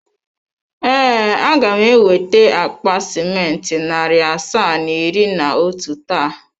Ee, a ga m eweta akpa simenti narị asaa na iri na otu taa.